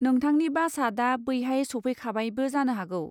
नोंथांनि बासआ दा बैहाय सफैखाबायबो जानो हागौ।